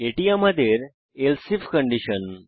এটি আমাদের else if condition